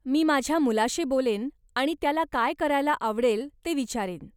मी माझ्या मुलाशी बोलेन आणि त्याला काय करायला आवडेल ते विचारीन.